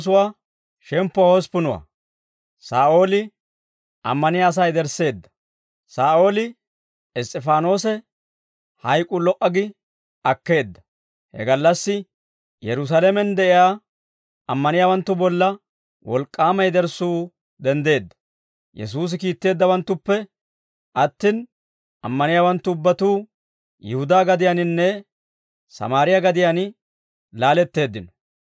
Saa'ooli Iss's'ifaanoose hayk'uu lo"a gi akkeedda. He gallassi Yerusaalamen de'iyaa ammaniyaawanttu bolla wolk'k'aama yederssuu denddeedda; Yesuusi kiitteeddawanttuppe attin, ammaniyaawanttu ubbatuu Yihudaa gadiyaaninne Sammaariyaa gadiyaan laaletteeddino.